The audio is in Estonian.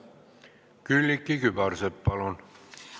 Külliki Kübarsepp, palun!